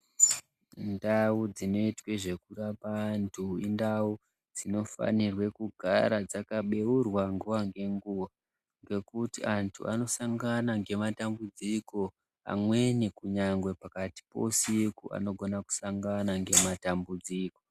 Ndau dzinoite zvekurapwa antu indau dzinofana kugara dzakabeurwa nguwa ngenguwa ngekuti antu anosangana ngematambudziko pamweni kunyangwe pakati peusiku anogona kusangana nematambudziko.